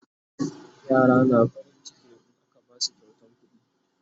yara na farin ciki in aka Basu kyautan kuɗi